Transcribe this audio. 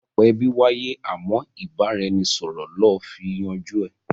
Ìyapa ẹbí wáyé àmọ́ ìbára-ẹni-sọ̀rọ̀ lọ fi yanjú ẹ